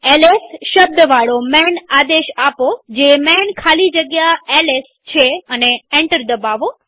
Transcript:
LS શબ્દવાળો માન આદેશ આપોજે માન ખાલી જગ્યા એલએસ છે અને એન્ટર દબાવો